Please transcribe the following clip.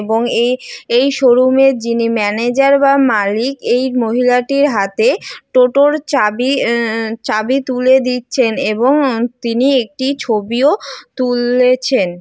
এবং এ এই শোরুমের যিনি ম্যানেজার বা মালিক এই মহিলাটির হাতে টোটো এর চাবি এ এ চাবি তুলে দিচ্ছেন এবং তিনি একটি ছবিও তুলছেন।